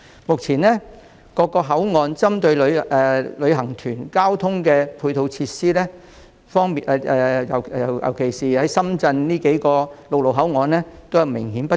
目前，各口岸供旅行團使用的交通配套設施，特別是深圳數個陸路口岸的設施均明顯不足。